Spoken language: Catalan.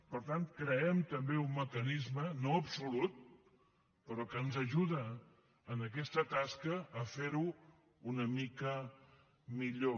per tant creem també un mecanisme no absolut però que ens ajuda en aquesta tasca a fer ho una mica millor